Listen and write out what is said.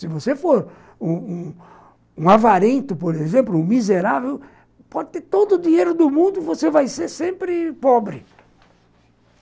Se você for um um avarento, por exemplo, um miserável, pode ter todo o dinheiro do mundo e você vai ser sempre pobre.